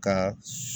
Ka